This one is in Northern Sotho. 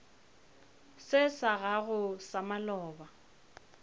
se sa gago sa maloba